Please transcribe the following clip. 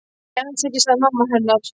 Nei, alls ekki sagði mamma hennar.